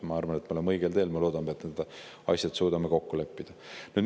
Ma arvan, et me oleme õigel teel, ja ma loodan, et me suudame need asjad kokku leppida.